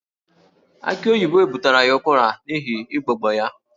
Aki oyibo butere ya ụkwara n'ihi igbogbo ya